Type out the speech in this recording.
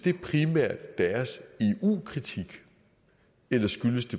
deres eu kritik eller